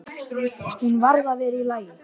Hún varð að vera í lagi.